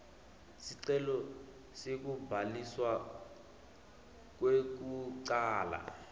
sicelo sekubhaliswa kwekucala